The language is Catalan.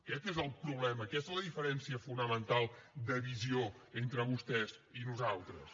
aquest és el problema aquesta és la diferència fonamental de visió entre vostès i nosaltres